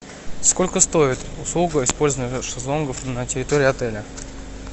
сколько стоит услуга использования шезлонгов на территории отеля